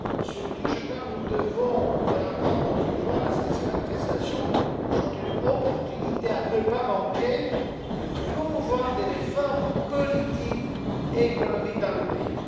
Surtout, nous devons faire entendre notre voix, parce que ces manifestations sont une opportunité à ne pas manquer pour promouvoir des réformes politiques et économiques dans le pays.